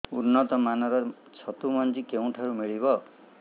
ଉନ୍ନତ ମାନର ଛତୁ ମଞ୍ଜି କେଉଁ ଠାରୁ ମିଳିବ